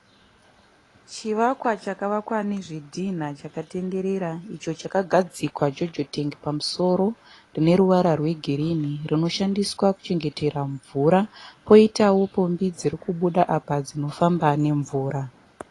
Chivakwa chakavakwa ne zvidhina icho chakarenderera icho chakagadzikwa pamusoro pe jojotengi rine ruvara regirini rinoshandiswa kuchengetera mvura koitawo pombi dzirikubuda apa dzinofamba ne mvura.